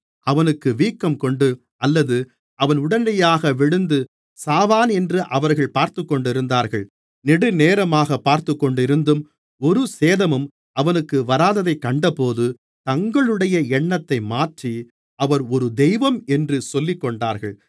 அவனுக்கு வீக்கங்கொண்டு அல்லது அவன் உடனடியாக விழுந்து சாவானென்று அவர்கள் பார்த்துக்கொண்டிருந்தார்கள் நெடுநேரமாகப் பார்த்துக்கொண்டிருந்தும் ஒரு சேதமும் அவனுக்கு வராததைக் கண்டபோது தங்களுடைய எண்ணத்தை மாற்றி அவர் ஒரு தெய்வம் என்று சொல்லிக்கொண்டார்கள்